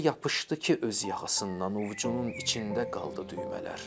Elə yapışdı ki öz yaxasından ovcunun içində qaldı düymələr.